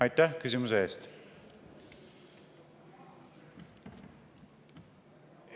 Aitäh küsimuse eest!